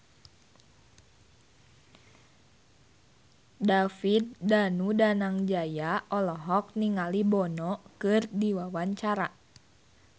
David Danu Danangjaya olohok ningali Bono keur diwawancara